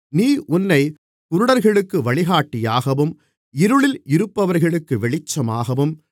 நீ உன்னைக் குருடர்களுக்கு வழிகாட்டியாகவும் இருளில் இருப்பவர்களுக்கு வெளிச்சமாகவும்